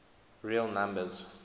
real numbers